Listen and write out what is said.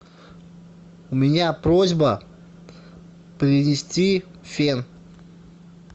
у меня просьба принести фен